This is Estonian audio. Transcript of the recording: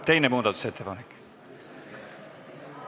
Teine muudatusettepanek.